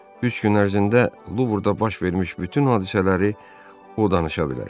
Üç gün ərzində Luvrda baş vermiş bütün hadisələri o danışa bilər.